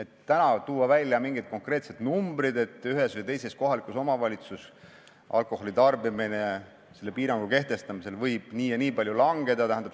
Tuua täna välja mingid konkreetsed numbrid, et ühes või teises kohalikus omavalitsuses alkoholitarbimine selle piirangu kehtestamise korral võib nii või nii palju langeda ...